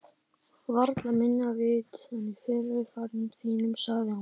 Varla minna vit en í fyrri ferðum þínum, sagði hún.